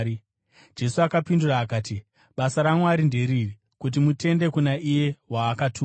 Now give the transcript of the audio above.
Jesu akapindura akati, “Basa raMwari nderiri: kuti mutende kuna iye waakatuma.”